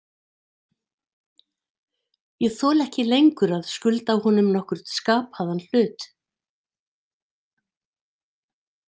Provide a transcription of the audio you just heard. Ég þoli ekki lengur að skulda honum nokkurn skapaðan hlut.